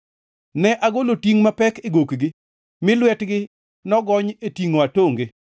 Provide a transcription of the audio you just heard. “Ne agolo tingʼ mapek e gokgi, mi lwetgi nogony e tingʼo atonge.